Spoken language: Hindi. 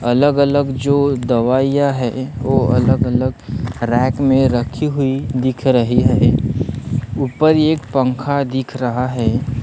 अलग अलग जो दवाइयां है वो अलग अलग रैक में रखी हुई दिख रही है ऊपर एक पंखा दिख रहा है।